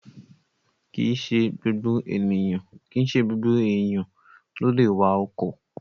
Kìíse gbogbo èèyàn ló lè wa ọkọ̀